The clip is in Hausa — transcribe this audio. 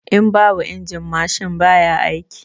In babu injin mashin baya aiki